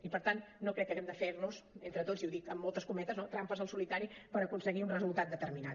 i per tant no crec que haguem de fer nos entre tots i ho dic amb moltes cometes no trampes al solitari per aconseguir un resultat determinat